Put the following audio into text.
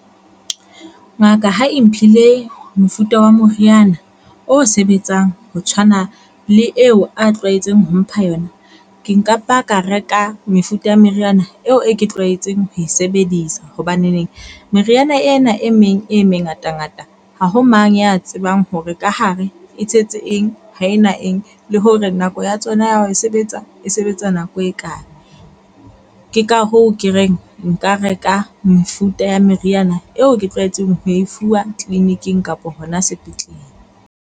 Ngaka ha e mphile mofuta wa moriana o sebetsang ho tshwana le eo a tlwaetseng ho mpha yona ke nka ba ka reka mefuta ya meriana eo e ke tlwaetseng ho e sebedisa hobaneneng meriana ena e meng e mengatangata ha ho mang ya tsebang hore ka hare e tshetse eng, ho e na eng. Le hore nako ya tsona ya hao e sebetsa e sebetsa nako e kae. Ke ka hoo ke reng nka reka mefuta ya meriana eo ke tlwaetseng ho e fuwa clinic-ing kapa hona sepetlele.